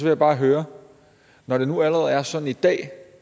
jeg bare høre når det nu allerede er sådan i dag